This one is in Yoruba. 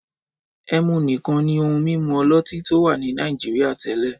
Ẹmu nìkan ni ohun-mímu ọlọ́tí tó wà ní Nàìjíríà tẹ́lẹ̀.